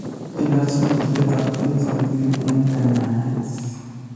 Ilaach ngoryet ab orit netilil eng' kanyaeet